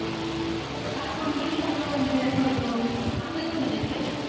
কাটুন বেশির ভাগ Tom and Jerry দেখা হয়তো আপনি কোন টা দেখতেন